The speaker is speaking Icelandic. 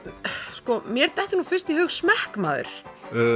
sko mér dettur nú fyrst í hug smekkmaður